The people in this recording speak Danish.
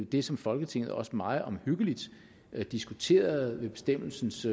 det som folketinget også meget omhyggeligt diskuterede ved bestemmelsens